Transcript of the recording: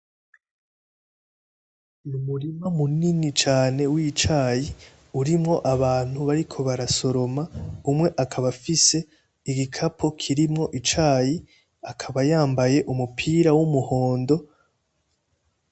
N'umurima munini cane w'icayi, urimwo abantu bariko barasoroma. Umwe akaba afise igikapo kirimwo icayi. Akaba yambaye umupira w'umuhondo.